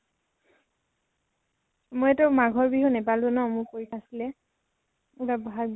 মই তো মাঘৰ বিহু নাপালো ন, মোৰ পৰীক্ষা আছিলে । এইবাৰ বহাগ বিহু